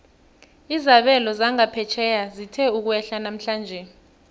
izabelo zangaphetjheya zithe ukwehla namhlanje